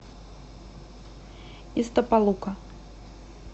истапалука